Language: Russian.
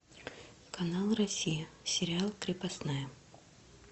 канал россия сериал крепостная